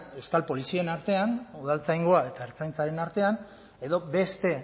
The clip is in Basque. euskal polizien artean udaltzaingoa eta ertzaintzaren artean edo beste